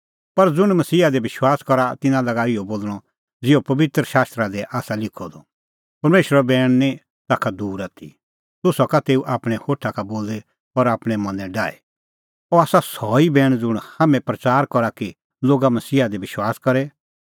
पर ज़ुंण मसीहा दी विश्वास करा तिन्नां लागा इहअ बोल़णअ ज़िहअ पबित्र शास्त्रा दी आसा लिखअ द परमेशरो बैण निं ताखा दूर आथी तूह सका तेऊ आपणैं होठा का बोली और आपणैं मनैं डाही अह आसा सह ई बैण ज़ुंण हाम्हैं प्रच़ार करा कि लोग मसीहा दी विश्वास करे